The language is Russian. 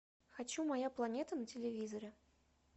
хочу моя планета на телевизоре